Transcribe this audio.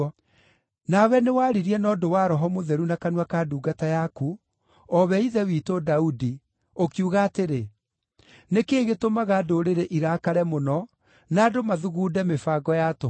Nawe nĩwaririe na ũndũ wa Roho Mũtheru na kanua ka ndungata yaku, o we ithe witũ Daudi, ũkiuga atĩrĩ: “ ‘Nĩ kĩĩ gĩtũmaga ndũrĩrĩ irakare mũno, na andũ mathugunde mĩbango ya tũhũ?